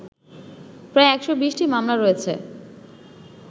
প্রায় ১২০টি মামলা রয়েছে